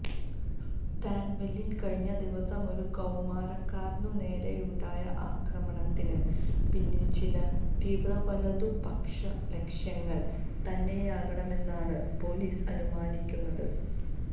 സ്റ്റാൻവെല്ലിൽ കഴിഞ്ഞ ദിവസം ഒരു കൌമാരക്കാരനുനേരെയുണ്ടായ ആക്രമണത്തിന് പിന്നിലും ചില തീവ്ര വലതുപക്ഷ ലക്ഷ്യങ്ങൾ തന്നെയാകാമെന്നാണ് പോലീസ് അനുമാനിക്കുന്നത്